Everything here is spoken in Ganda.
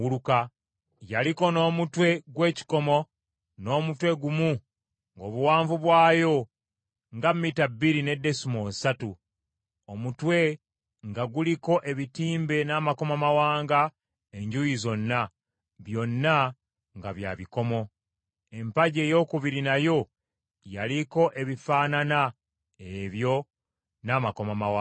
Yaliko n’omutwe gw’ekikomo, n’omutwe gumu ng’obuwanvu bwayo nga mita bbiri ne desimoolo ssatu, omutwe nga guliko ebitimbe n’amakomamawanga enjuuyi zonna, byonna nga bya bikomo; empagi eyookubiri nayo yaliko ebifaanana ebyo n’amakomamawanga.